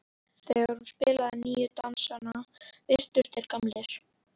Þegar hún spilaði nýju dansana virtust þeir gamlir.